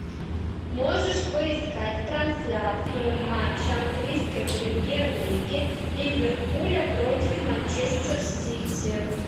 можешь поискать трансляцию матча английской премьер лиги ливерпуля против манчестер сити